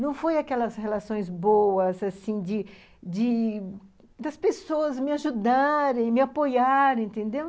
Não foi aquelas relações boas, assim, de de as pessoas me ajudarem, me apoiarem, entendeu?